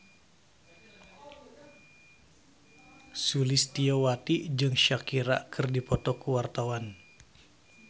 Sulistyowati jeung Shakira keur dipoto ku wartawan